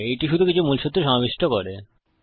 এটি শুধু কিছু মূলসুত্র সমাবিষ্ট করে